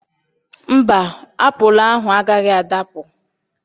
Mba, apụlụ ahụ agaghị adapụ.